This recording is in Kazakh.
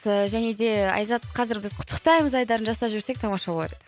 және де айзат қазір біз құттықтаймыз айдарын жасап жіберсек тамаша болады